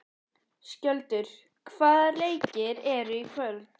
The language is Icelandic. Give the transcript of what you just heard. Skjöldur, hvaða leikir eru í kvöld?